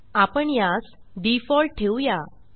आपण यास default default ठेऊया आणि एप्ली